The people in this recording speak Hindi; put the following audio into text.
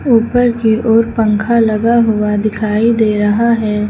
ऊपर की ओर पंखा लगा हुआ दिखाई दे रहा है।